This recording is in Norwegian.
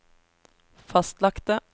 fastlagte